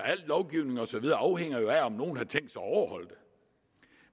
al lovgivning og så videre afhænger jo af om nogle har tænkt sig at overholde det